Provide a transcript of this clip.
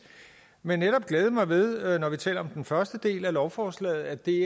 men netop glæde mig ved når vi taler om den første del af lovforslaget at det